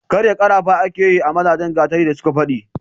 karya karafa ake yi wa mazajen gatari da suka fadi